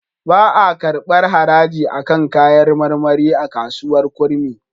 Ba a karɓar haraji a kan kayar marmari a kasuwar Kurmi.